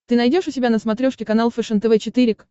ты найдешь у себя на смотрешке канал фэшен тв четыре к